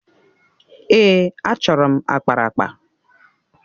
Èè, achọrọ m akparaakpa.